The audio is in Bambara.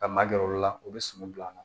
Ka ma gɛrɛ olu la u be suman bil'an na